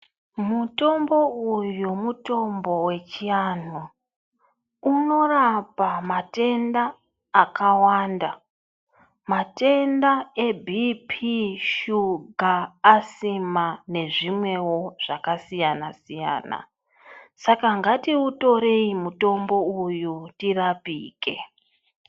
Mutombo uyo mutombo wechianhu. Unorapa matenda akawanda, matenda ebhiiphiii, shuga, asima nezvimwewo zvakasiyana-siyana. Saka ngatiutorei mitombo uyu, tirapike.